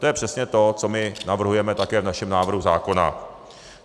To je přesně to, co my navrhujeme také v našem návrhu zákona.